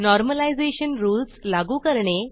normalisation rules लागू करणे